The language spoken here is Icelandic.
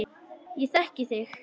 Ég þekki þig